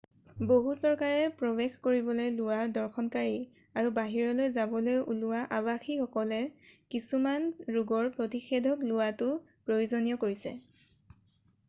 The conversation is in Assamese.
বহু চৰকাৰে প্ৰৱেশ কৰিবলৈ লোৱা দৰ্শনকাৰী আৰু বাহিৰলৈ যাবলৈ ওলোৱা আবাসীসকলে কিছুমান ৰোগৰ প্ৰতিষেধক লোৱাটো প্ৰয়োজনীয় কৰিছে